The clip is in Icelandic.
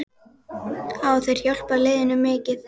Hafa þeir hjálpað liðinu mikið?